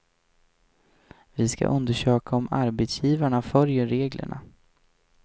Vi ska undersöka om arbetsgivarna följer reglerna.